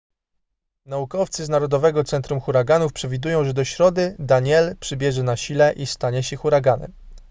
naukowcy z narodowego centrum huraganów przewidują że do środy danielle przybierze na sile i stanie się huraganem